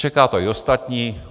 Čeká to i ostatní.